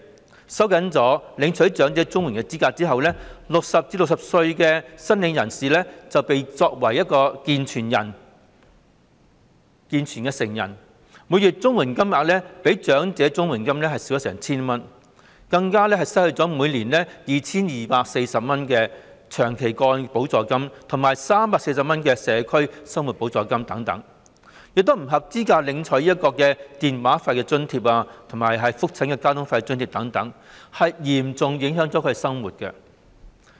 在收緊領取長者綜援的資格後 ，60 歲至64歲的申請人會視作"健全成人"，每月的綜援金額較長者綜援金額少了足足 1,000 元，更會失去每年 2,240 元的長期個案補助金和每月340元的社區生活補助金等，亦不再符合資格領取電話費津貼和覆診交通津貼等，嚴重影響了他們的生活。